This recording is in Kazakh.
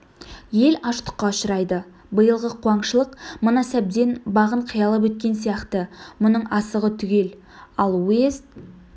ел аштыққа ұшырайды биылғы куаңшылық мына сәбден бағын қиялап өткен сияқты бұның асығы түгел ал уезд